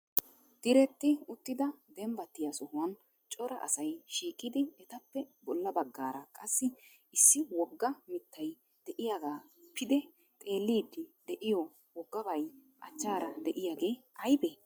Diretti uttida dembbattiya sohuwan Cora asay shiiqidi etappe bolla baggaara qassi issi wogga mittay de'iyaaga pide xeellidi de'iyo woggabay achchaara de'iyaagee aybbe?